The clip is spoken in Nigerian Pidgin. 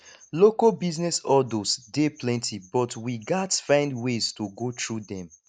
local business hurdles dey plenty but we gats find ways to go through dem